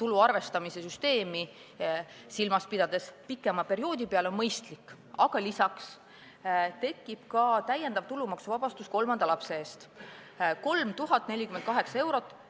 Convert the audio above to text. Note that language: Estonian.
tulu arvestamise süsteemi silmas pidades jagada pikema perioodi peale, on mõistlik, aga lisaks tekib ka täiendav tulumaksuvabastus kolmanda lapse eest – 3048 eurot.